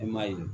I m'a ye